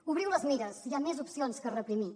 obriu les mires hi ha més opcions que reprimir